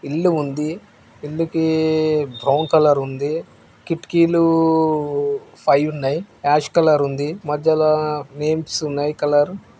ఇల్లు ఉంది ఇల్లు కి బ్రౌన్ కలర్ ఉంది కిటికీలు ఫైవ్ ఉన్నాయి యాష్ కలర్ ఉంది మధ్యల నేమ్స్ ఉన్నాయి కలర్ --